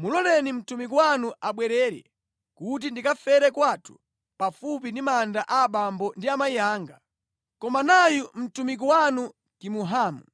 Muloleni, mtumiki wanu abwerere, kuti ndikafere kwathu pafupi ndi manda a abambo ndi amayi anga. Koma nayu mtumiki wanu Kimuhamu.